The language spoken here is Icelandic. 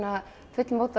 fullmótað